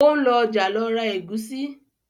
o ń lọ ọjà ló ra Egusi